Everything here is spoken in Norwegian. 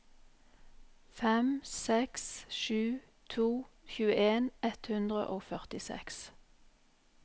fem seks sju to tjueen ett hundre og førtiseks